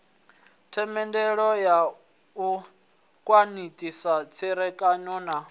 themendelo u khwathisa tserekano na